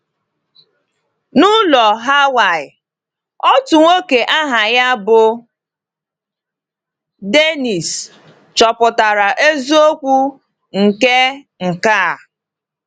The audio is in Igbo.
N’ụlọ Hawaị, otu nwoke aha ya bụ Dénnís chọpụtara eziokwu nke nke a.